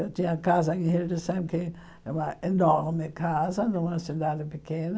Eu tinha casa em, que é uma enorme casa, numa cidade pequena.